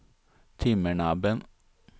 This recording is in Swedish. Timmernabben